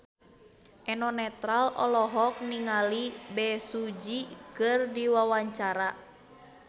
Eno Netral olohok ningali Bae Su Ji keur diwawancara